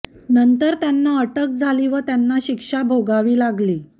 नंतर त्यांना अटक झाली व त्यांना शिक्षा भोगावी लागली